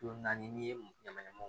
Kulo naani n'i ye m ɲaman mo